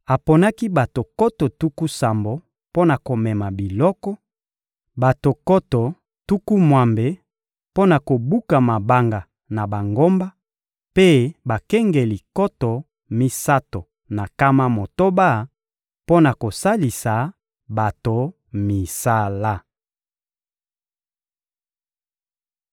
Aponaki bato nkoto tuku sambo mpo na komema biloko, bato nkoto tuku mwambe mpo na kobuka mabanga na bangomba, mpe bakengeli nkoto misato na nkama motoba mpo na kosalisa bato misala.